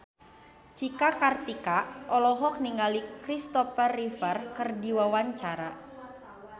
Cika Kartika olohok ningali Kristopher Reeve keur diwawancara